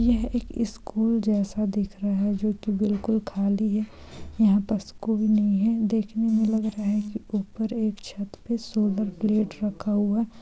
यह एक स्कूल जैसा दिख रहा है जो की बिल्कुल खाली है यहां पस कोई नहीं है देखने मे लग रहा है के ऊपर एक छत पे सोलर प्लेट रखा हुआ है।